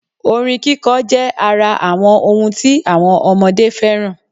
Orin kíkọ jẹ́ ara àwọn ọhun tí àwọn ọmọdé fẹ́ràn